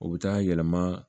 O bɛ taa yɛlɛma